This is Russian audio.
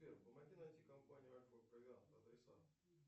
сбер помоги найти компанию альфа провиант адреса